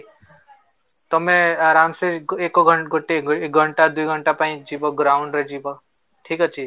ତମେ ଆରାମ ସେ ଏକ ଏକ ଗୋଟେ ଘଣ୍ଟା ଦୁଇ ଘଣ୍ଟା ପାଇଁ ଯିବ groundରେ ଯିବ ଠିକ ଅଛି